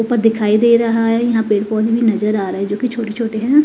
ऊपर दिखाई दे रहा है यहां पेड़ पौधे भी नजर आ रहा है जो कि छोटी-छोटी है।